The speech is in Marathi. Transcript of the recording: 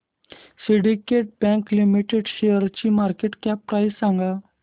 सिंडीकेट बँक लिमिटेड शेअरची मार्केट कॅप प्राइस सांगा